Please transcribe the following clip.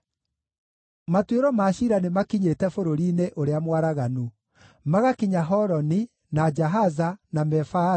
Matuĩro ma ciira nĩmakinyĩte bũrũri-inĩ ũrĩa mwaraganu: magakinya Holoni, na Jahaza, na Mefaathu,